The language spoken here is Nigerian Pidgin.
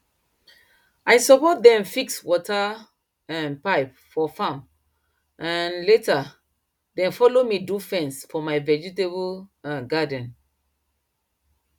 i support dem fix water um pipe for farm and um later dem follow me do fence for my vegetable um garden